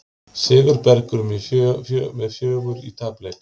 Sigurbergur með fjögur í tapleik